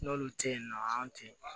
N'olu te yen nɔ an te